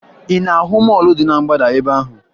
Ị na-ahụ mọọlụ dị na mgbada ebe ahụ?